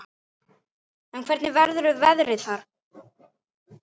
Grá. mygla!